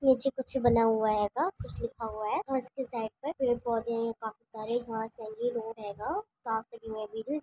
नीचे कुछ बना हुआ आएगा कुछ लिखा हुआ है उसके साइड पे पेड़ पौधे हैं काफी सारे --